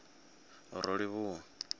rolivhuwa